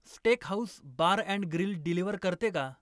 steakhouse bar and grill deliver करते का